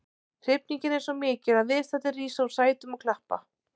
Hrifningin er svo mikil að viðstaddir rísa úr sætum og klappa.